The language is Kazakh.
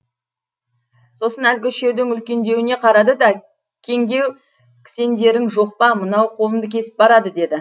сосын әлгі үшеудің үлкендеуіне қарады да кеңдеу кісендерің жоқ па мынау қолымды кесіп барады деді